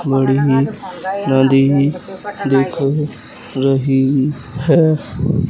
बड़ी नदी दिख रही है।